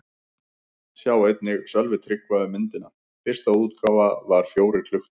Sjá einnig: Sölvi Tryggva um myndina: Fyrsta útgáfa var fjórir klukkutímar